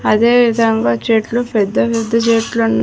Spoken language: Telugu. అదేవిధంగా చెట్లు పెద్ద పెద్ద చెట్లున్నా